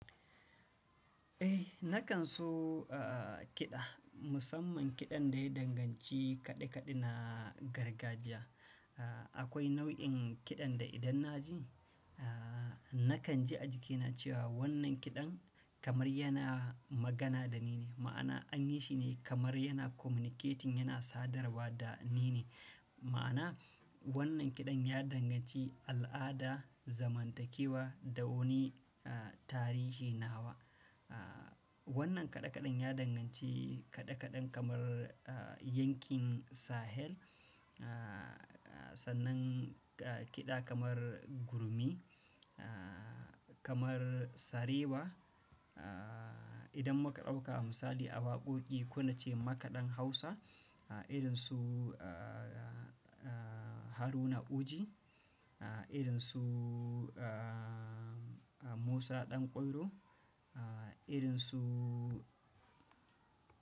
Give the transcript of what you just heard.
Eh, nakan so, a, kiɗa, musamman kiɗan da ya danganci kaɗe-kaɗe na gargajiya. A, akwai nau'in kiɗan da idan na ji, a, nakan ji a jikina cewa wannan kiɗan kamar yana magana da ni ne, ma'ana an yi shi ne kamar yana communicating, yana sadarwa da ni ne. Ma'ana wannan kiɗan ya danganci al'ada, zamantakewa da wani, a, tarihi nawa. A, wannan kaɗe-kaɗen ya danganci kaɗe-kaɗen kamar, a, yankin Sahel, a, sannan kiɗa kamar Gurmi, a, kamar Sarewa, a, idan muka ɗauka misali a waƙoƙi, kona ce makaɗan Hausa, irin su, a, Haruna Uji, irin su, a, Musa Ɗan Kwairo, irin su.